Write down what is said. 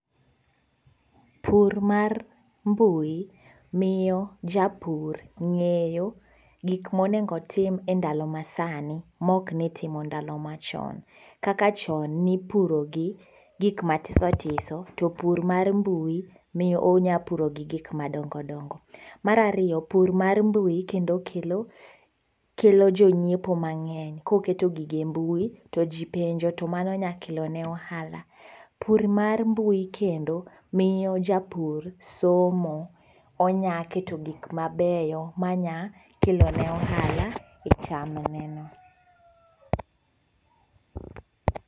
Pur mar mbui miyo japur ng'eyo gik monego otim endalo masani mok nitimo ndalo machon. Kaka chon nipuro gi gik matisotiso to pur mar mbui miyo unya puro gi gik madongodongo. Mar ariyo pur mar mbui kendo kelo kelo jonyiewo mang'eny koketo gigo e mbui to jii penjo to mano nya kelo ne ohala. Pur mar mbui kendo miyo japur somo onya keto gik mabeyo manya kelo ne ohala e cham neno